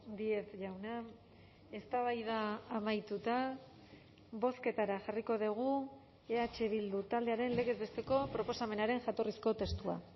díez jauna eztabaida amaituta bozketara jarriko dugu eh bildu taldearen legez besteko proposamenaren jatorrizko testua